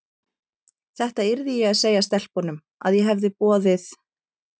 Þetta yrði ég að segja stelpunum, að ég hefði boðið